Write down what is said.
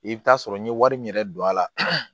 I bɛ t'a sɔrɔ n ye wari min yɛrɛ don a la